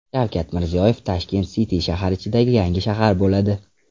Shavkat Mirziyoyev: Tashkent City shahar ichidagi yangi shahar bo‘ladi.